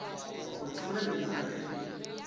go timola lenyora ge e